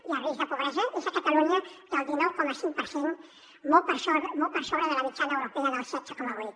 i el risc de pobresa és a catalunya del dinou coma cinc per cent molt per sobre de la mitjana europea del setze coma vuit